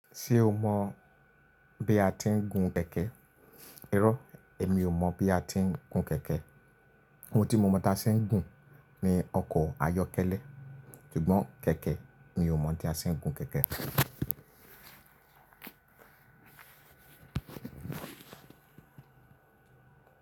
Ṣé o mọ̀ bí a ti ń gun kẹ̀kẹ́? Irọ́, èmi ò mọ̀ bí a ti ń gun kẹ̀kẹ́. Ohun tí mo mọ̀ tí a ṣe ń gùn ni ọkọ̀ ayọ́kẹ́lẹ́. Ṣùgbọ́n kẹ̀kẹ́, mi ò mọ̀ bí a ṣe ń gun kẹ̀kẹ́.